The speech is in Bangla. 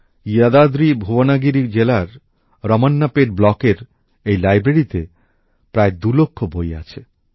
যদাদ্রিভুবনাগিরি জেলার রমন্নাপেট ব্লকের এই লাইব্রেরীতে প্রায় ২ লক্ষ বই আছে